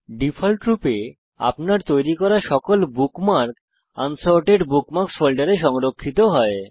ডিফল্টরূপে আপনার তৈরি করা সকল বুকমার্ক আনসর্টেড বুকমার্কস ফোল্ডারে সংরক্ষিত হয়